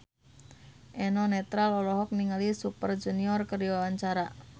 Eno Netral olohok ningali Super Junior keur diwawancara